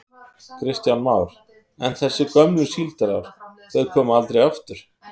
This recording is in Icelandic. Kristján Már: En þessi gömlu síldarár, þau koma aldrei aftur?